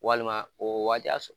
Walima o waati y'a sɔ